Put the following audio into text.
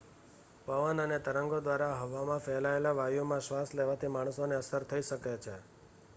પવન અને તરંગો દ્વારા હવામાં ફેલાયેલ વાયુમાં શ્વાસ લેવાથી માણસોને અસર થઈ શકે છે